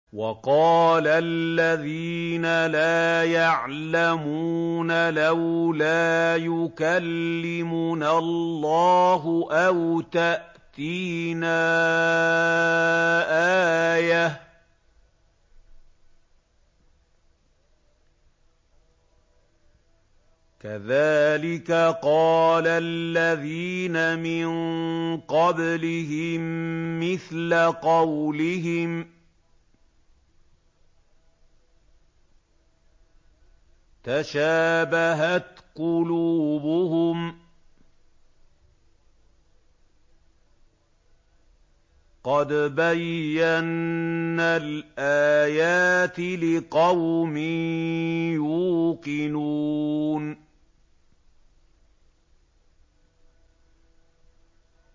وَقَالَ الَّذِينَ لَا يَعْلَمُونَ لَوْلَا يُكَلِّمُنَا اللَّهُ أَوْ تَأْتِينَا آيَةٌ ۗ كَذَٰلِكَ قَالَ الَّذِينَ مِن قَبْلِهِم مِّثْلَ قَوْلِهِمْ ۘ تَشَابَهَتْ قُلُوبُهُمْ ۗ قَدْ بَيَّنَّا الْآيَاتِ لِقَوْمٍ يُوقِنُونَ